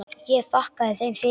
Ég þakkaði þeim fyrir.